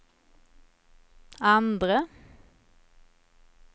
andre